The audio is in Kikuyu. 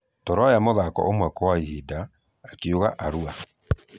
Tũroya mũthako ũmwe kwa ihinda ,"akiuga aluor.